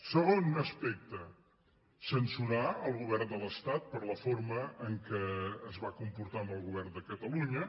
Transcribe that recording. segon aspecte censurar el govern de l’estat per la forma en què es va comportar amb el govern de catalunya